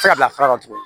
se ka bila sira dɔ tuguni